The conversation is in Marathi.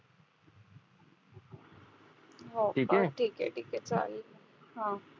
हो बर ठीके ठीके चालेल हम्म